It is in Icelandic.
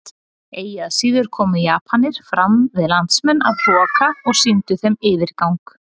Eigi að síður komu Japanir fram við landsmenn af hroka og sýndu þeim yfirgang.